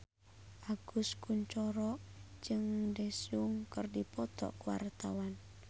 Agus Kuncoro jeung Daesung keur dipoto ku wartawan